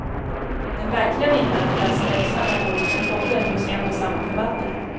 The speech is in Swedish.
Den verkliga vinnaren är den som växlar mellan olika fonder hos en och samma förvaltare.